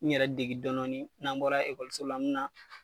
N yɛrɛ degi dɔɔni dɔɔni , n'an bɔra ekɔso la n mi na